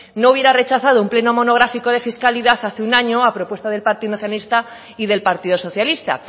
no hubiera rechazado un pleno monográfico de fiscalidad hace un año a propuesta del partido nacionalista y del partido socialista